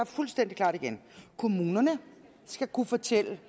fuldstændig klart igen kommunerne skal kunne fortælle